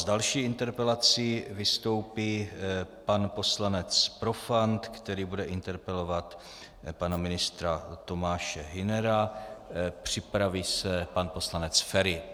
S další interpelací vystoupí pan poslanec Profant, který bude interpelovat pana ministra Tomáše Hünera, připraví se pan poslanec Feri.